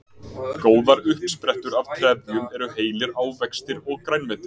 góðar uppsprettur af trefjum eru heilir ávextir og grænmeti